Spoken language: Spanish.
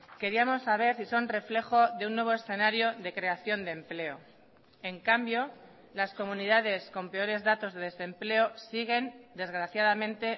queríamos saber si son reflejo de un nuevo escenario de creación de empleo en cambio las comunidades con peores datos de desempleo siguen desgraciadamente